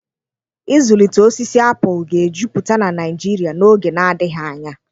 Ịzụlite osisi apụl ga-ejupụta na Nigeria n'oge na-adịghị anya.